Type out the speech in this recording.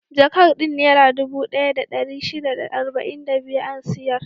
Jakar din Nera dubu ɗaya da ɗari shida da arba'in da biyu an siyar.